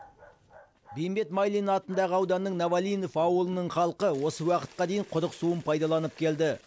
бейімбет майлин атындағы ауданның новолинов ауылының халқы осы уақытқа дейін құдық суын пайдаланып келді